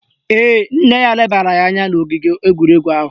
Ee, nne ya lebara ya anya n' ogige egwuregwu ahụ